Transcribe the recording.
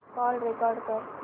call record कर